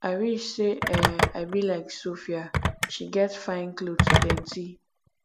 i wish say um i be like sophia she get fine cloth plenty